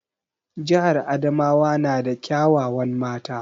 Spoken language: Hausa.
Jihar Adamawa na da kya wawan mata